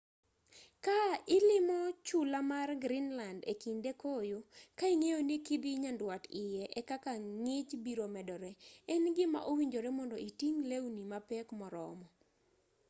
ka ilimo chula mar greenland ekinde koyo ka ing'eyo ni kidhii nyandwat iye ekaka ng'ich biro medore en gima owinjore mondo iting' lewni mapek moromo